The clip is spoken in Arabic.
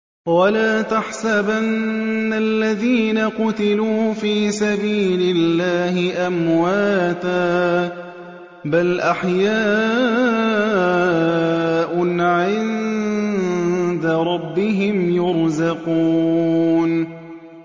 وَلَا تَحْسَبَنَّ الَّذِينَ قُتِلُوا فِي سَبِيلِ اللَّهِ أَمْوَاتًا ۚ بَلْ أَحْيَاءٌ عِندَ رَبِّهِمْ يُرْزَقُونَ